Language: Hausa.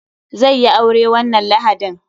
Zai yi aure wannan lahadin.